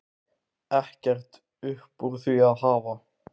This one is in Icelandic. Ekkert upp úr því að hafa?